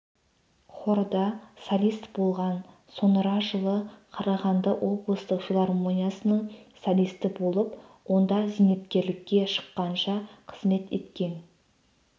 хорда солист болған соңыра жылы қарағанды облыстық филармониясының солисті болып онда зейнеткерлікке шфыққанша қызмет еткен